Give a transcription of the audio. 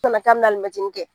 Nana ka be na alimɛtinin kɛ.